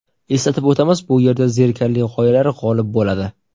Eslatib o‘tamiz: bu yerda zerikarli g‘oyalar g‘olib bo‘ladi.